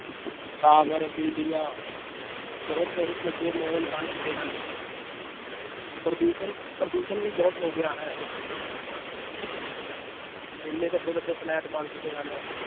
tower ਬਿਲਡਿੰਗਾਂ ਬਹੁਤ ਬਹੁਤ ਵੱਡੇ ਮਾਲ ਬਣ ਚੁੱਕੇ ਹਨ ਪ੍ਰਦੂਸ਼ਣ ਪ੍ਰਦੂਸ਼ਣ ਵੀ ਬਹੁਤ ਹੋ ਗਿਆ ਹੈ ਇੰਨੇ ਵੱਡੇ ਵੱਡੇ ਫਲੈਟ ਬਣ ਚੁੱਕੇ ਹਨ l